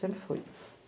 Sempre foi.